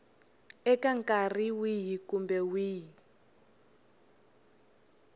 eka nkarhi wihi kumbe wihi